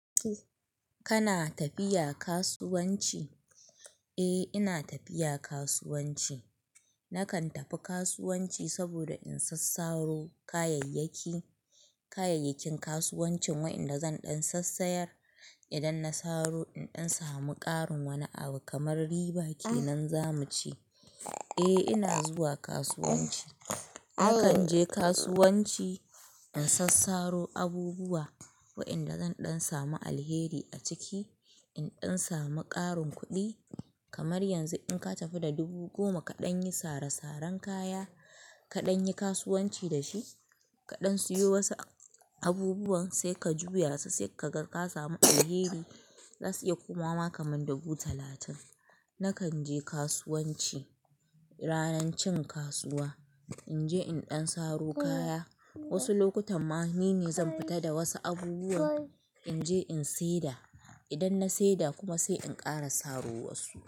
Kana tafiya kasuwanci? Eh ina tafiya kasuwanci. Nakan tafi kasuwanci saboda in sassaro kayayyaki, kayayyakin kasuwancin waɗanda zan ɗan sassayar. Idan na saro in ɗan samu ƙarin wani abu kamar riba kenan za mu ce. Eh ina zuwa kasuwanci. Nakan je kasuwanci in sassaro abubuwa wa'yanda zan ɗan samu alheri a ciki. In ɗan samu ƙarin kuɗi, kamar yanzu in ka tafi da dubu goma kaɗan yi sare-saren kaya, kaɗan yi kasuwanci da shi, kaɗan siyo wasu abubuwan sai ka juya su sai ka ga ka samu alheri, za su iya komawa ma kamar dubu talatin. Nakan je kasuwanci ranar cin kasuwa in je in ɗan saro kaya. Wasu lokutan ma ni ne zan fita da wasu abubuwan in je in seda. Idan na seda kuma sai in ƙara saro wasu.